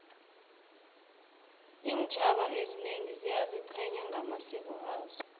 intjhaba ezinengi ziyazichenya ngamasiko azo